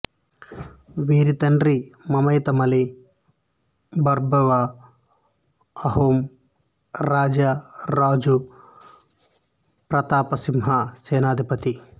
వీరి తండ్రి మొమై తములి బర్బరువ అహోం రాజు రాజా ప్రతాపసింహ సేనాధిపతి